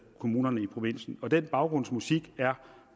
kommuner i provinsen og den baggrundsmusik er